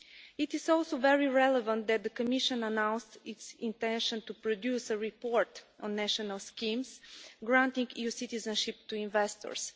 It is also very relevant that the Commission announced its intention to produce a report on national schemes granting EU citizenship to investors.